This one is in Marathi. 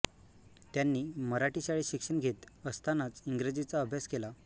त्यांनी मराठी शाळेत शिक्षण घेत असतानाच इंग्रजीचा अभ्यास केला